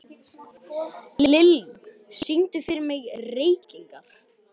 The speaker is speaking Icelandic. Lilly, syngdu fyrir mig „Reykingar“.